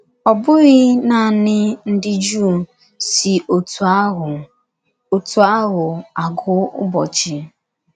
Ọ bụghị naanị ndị Jụụ si otú ahụ otú ahụ agụ ụbọchị.